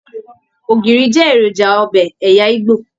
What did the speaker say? Ògiri jẹ èròjà ọbẹ ẹyà igbó.